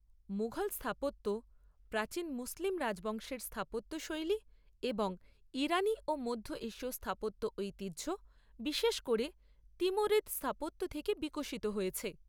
মুঘল স্থাপত্য প্রাচীন মুসলিম রাজবংশের স্থাপত্য শৈলী এবং ইরানী ও মধ্য এশিয় স্থাপত্য ঐতিহ্য, বিশেষ করে তিমুরিদ স্থাপত্য থেকে বিকশিত হয়েছে।